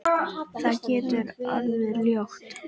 Það getur orðið ljótt.